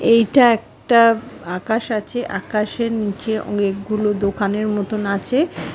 এইটা একটা আকাশ আছে। আকাশের নিচে অনেকগুলো দোকানের মতন আছে ।